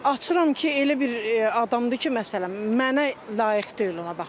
Açıram ki, elə bir adamdır ki, məsələn, mənə layiq deyil ona baxmaq.